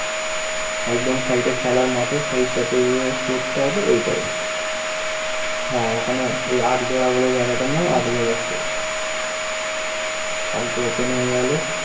একদম side এ খেলার মাঠে ঐটাই হ্যা ওখানে ঐ আটবড়াবরে জায়গাটার নাম আটবড়া কালকে open হয়ে গেল।